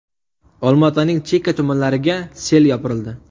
Olma-Otaning chekka tumanlariga sel yopirildi.